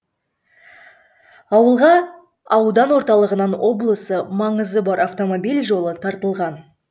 ауылға аудан орталығынан облысы маңызы бар автомобиль жолы тартылған